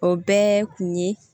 O bɛɛ kun ye